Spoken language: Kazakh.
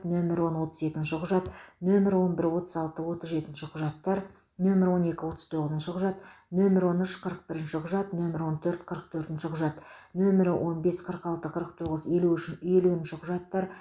нөмірі он отыз екінші құжат нөмірі он бір отыз алты отыз жетінші құжаттар нөмірі он екі отыз тоғызыншы құжат нөмірі он үш қырық бірінші құжат нөмірі он төрт қырық төртінші құжат нөмірі он бес қырық алты қырық тоғыз елу үш елуінші құжаттар